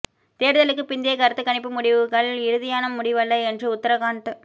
தேர்தலுக்கு பிந்தைய கருத்துக் கணிப்பு முடிவுகள் இறுதியான முடிவல்ல என்று உத்தரகாண்ட